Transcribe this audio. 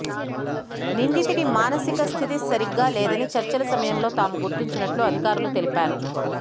నిందితుడు మానసిక స్థితి సరిగ్గా లేదని చర్చల సమయంలో తాము గుర్తించినట్లు అధికారులు తెలిపారు